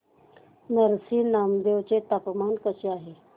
नरसी नामदेव चे तापमान कसे आहे